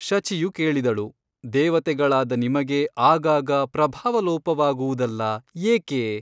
ಶಚಿಯು ಕೇಳಿದಳು ದೇವತೆಗಳಾದ ನಿಮಗೆ ಆಗಾಗ ಪ್ರಭಾವ ಲೋಪವಾಗುವುದಲ್ಲಾ ಏಕೆ ?